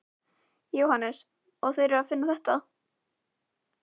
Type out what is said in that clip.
Jóhannes: Og þeir eru að finna þetta?